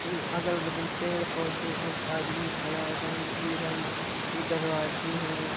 ये अगल-बगल पेड़-पौधे एक आदमी खड़ा है रंग-बिरंग के दरवाजे हैं।